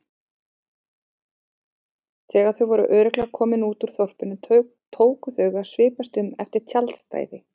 Þegar þau voru örugglega komin út úr þorpinu tóku þau að svipast um eftir tjaldstæði.